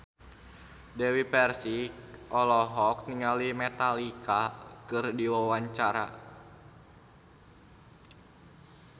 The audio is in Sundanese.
Dewi Persik olohok ningali Metallica keur diwawancara